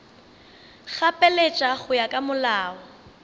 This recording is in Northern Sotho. gapeletša go ya ka molao